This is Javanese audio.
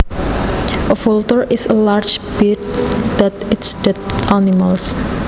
A vulture is a large bird that eats dead animals